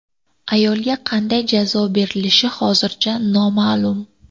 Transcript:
Ayolga qanday jazo berilishi hozircha noma’lum.